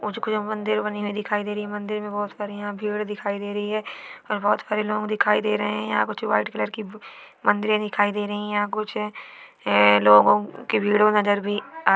मुझे कोई मंदिर बनी हुई दिखाई दे रही है मंदिर मे बहूत सारे यहा भीड़ दिखाई दे रही है और बहूत सारे लोग दिखाई दे रहे है यहा कुछ व्हाइट कलर की मंदिरे दिखाई दे रही है यहा कुछ ये लोगो कि भिड़ो नज़र भी आ--